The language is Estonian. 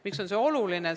Miks on see oluline?